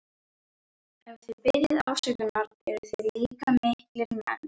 Ef þið biðjið afsökunar eruð þið líka miklir menn.